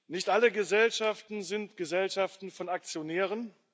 Nicht alle Gesellschaften sind Gesellschaften von Aktionären.